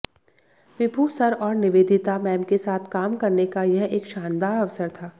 विभु sir और Nivedita ma'am के साथ काम करने का यह एक शानदार अवसर था